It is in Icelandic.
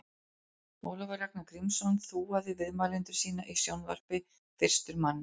Ólafur Ragnar Grímsson þúaði viðmælendur sína í sjónvarpi fyrstur manna.